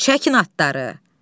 Çəkin atları!